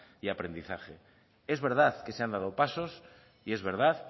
y aprendizaje es verdad que se han dado pasos y es verdad